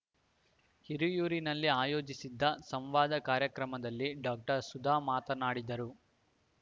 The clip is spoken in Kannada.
ಹಿರಿಯೂರಿನಲ್ಲಿ ಆಯೋಜಿಸಿದ್ದ ಸಂವಾದ ಕಾರ್ಯಕ್ರಮದಲ್ಲಿ ಡಾಕ್ಟರ್ ಸುಧಾ ಮಾತನಾಡಿದರು